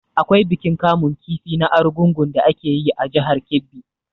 Akwai bikin kamun kifi na argungu da ake yi a jihar Kebbi.